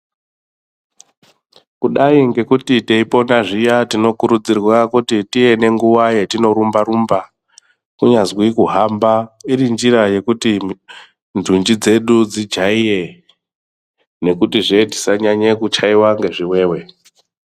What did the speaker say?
Kudayi ngekuti teipona zviya tinokurudzirwa kuti tive nenguwa yetinorumba rumba kunyazwi kuhamba irinjira yekuti ndunji dzedu dzijaire nekutizve tisanyanya kuchaiwa ngezviwewe.